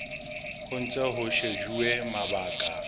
ho ntse ho shejuwe mabaka